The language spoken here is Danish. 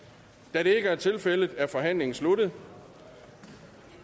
da det ikke er tilfældet er forhandlingen sluttet